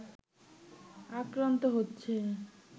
আক্রান্ত হচ্ছে